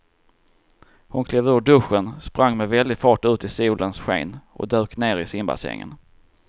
Hon klev ur duschen, sprang med väldig fart ut i solens sken och dök ner i simbassängen.